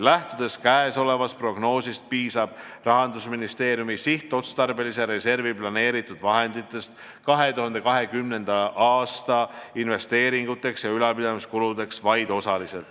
Lähtudes käesolevast prognoosist, piisab Rahandusministeeriumi sihtotstarbelisse reservi planeeritud vahenditest 2020. aasta investeeringuteks ja ülalpidamiskuludeks vaid osaliselt.